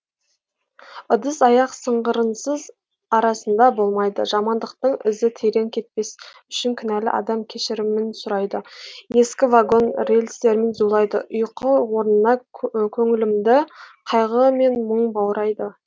ыдыс аяқ сыңғырынсыз арасында болмайды жамандықтың ізі терең кетпес үшін кінәлі адам кешірімін сұрайды ескі вагон рельстермен зулайды ұйқы орнына көңілімді қайғы мен мұң баурайды